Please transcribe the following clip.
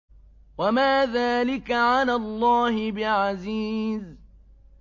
وَمَا ذَٰلِكَ عَلَى اللَّهِ بِعَزِيزٍ